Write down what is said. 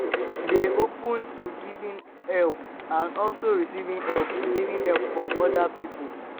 dey open to giving help and also receiving help receiving help from oda pipo